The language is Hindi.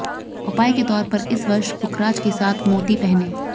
उपाय के तौर पर इस वर्ष पुखराज के साथ मोती पहनें